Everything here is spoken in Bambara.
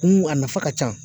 Kun a nafa ka ca